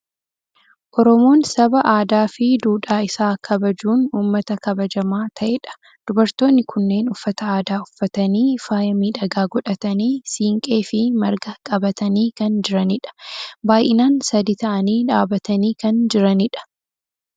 Oromoon saba aadaa fi duudhaa isaa kabajachuun uummata kabajamaa ta'edha. Dubartoonni kunneen uffata aadaa uffatanii, faaya miidhagaa godhatanii, siinqee fi marga qabatanii kan jiranidha. Baay'inaan sadii ta'anii dhaabatanii kan jiranidha.